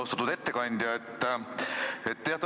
Austatud ettekandja!